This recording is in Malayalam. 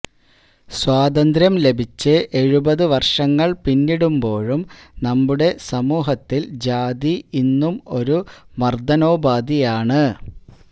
സ്വാതന്ത്ര്യം ലഭിച്ച് എഴുപതു വർഷങ്ങൾ പിന്നിടുമ്പോഴും നമ്മുടെ സമൂഹത്തിൽ ജാതി ഇന്നും ഒരു മർദ്ദനോപാധിയാണ്